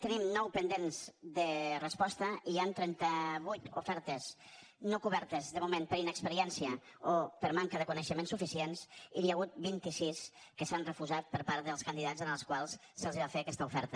tenim nou pendents de resposta i hi han trenta vuit ofertes no cobertes de moment per inexperiència o per manca de coneixements suficients i n’hi ha hagut vint sis que s’han refusat per part dels candidats als quals se’ls va fer aquesta oferta